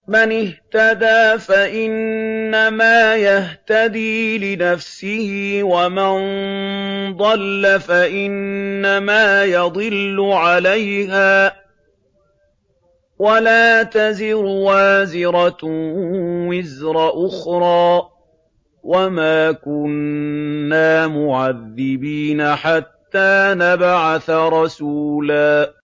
مَّنِ اهْتَدَىٰ فَإِنَّمَا يَهْتَدِي لِنَفْسِهِ ۖ وَمَن ضَلَّ فَإِنَّمَا يَضِلُّ عَلَيْهَا ۚ وَلَا تَزِرُ وَازِرَةٌ وِزْرَ أُخْرَىٰ ۗ وَمَا كُنَّا مُعَذِّبِينَ حَتَّىٰ نَبْعَثَ رَسُولًا